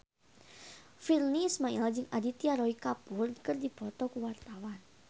Virnie Ismail jeung Aditya Roy Kapoor keur dipoto ku wartawan